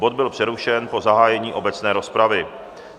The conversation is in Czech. Bod byl přerušen po zahájení obecné rozpravy.